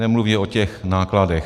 Nemluvě o těch nákladech.